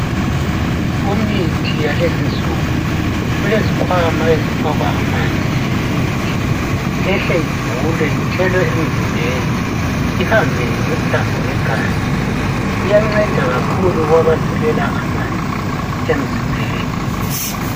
Kumithi yalezi insuku, kulezikhwama ezifakwa amanzi lemithi ehle ivulwe ithelwe emzimbeni ihambe ngemithambo yegazi. Iyanceda kakhukh kwabasilela amanzi emzimbeni